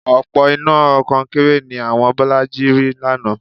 Òpó iná kọnkéré ni àwọn Bọ́lájí rì lánàá